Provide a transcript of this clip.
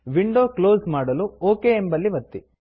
window close ಮಾಡಲು okay ಎಂಬಲ್ಲಿ ಒತ್ತಿ